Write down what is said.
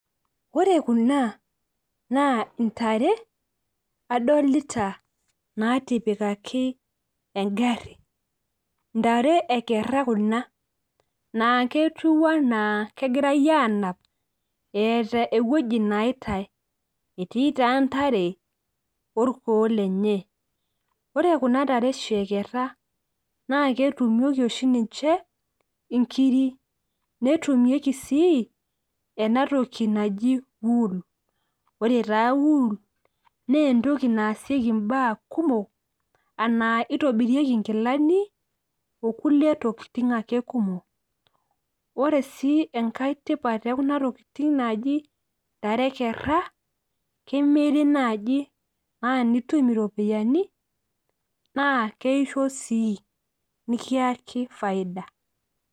Ore kuna adolita ajo intare naatipika engari, ntare ekera kuna naa keetiu anaa kegirae anap eeta ewueji neitae ,etii taa ntare orkuoo lenye. Ore kuna tare oshi ekera naa ketumieki oshi ninche inkiri , netumieki sii enatoki naji wool. Ore taa wool naa entoki naasieki ntokitin kumok nitobirieki nkilani okulie tokitin ake kumok. Ore sii tipat ekuna tokitin naji ntare e kera ,kemiri naji naa nitum iropiyiani naa keoshio sii nikiyaki faida.